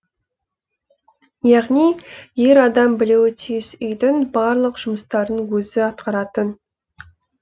яғни ер адам білуі тиіс үйдің барлық жұмыстарын өзі атқаратын